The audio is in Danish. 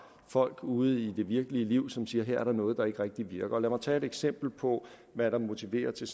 folk ude i det virkelige liv som siger her er der noget der ikke rigtig virker lad mig tage et eksempel på hvad der motiverer til